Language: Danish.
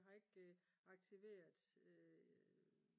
jeg har ikke aktiveret